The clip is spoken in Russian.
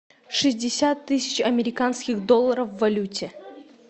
шестьдесят тысяч американских долларов в валюте